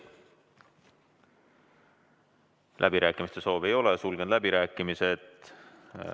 Läbirääkimiste soovi ei ole, sulgen läbirääkimised.